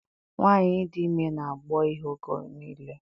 Nwaanyị dị ime na-agbọ ihe oge nille.